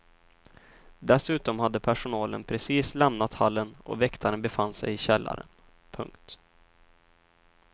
Dessutom hade personalen precis lämnat hallen och väktaren befann sig i källaren. punkt